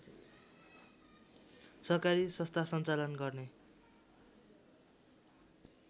सहकारी सस्था सञ्चालन गर्ने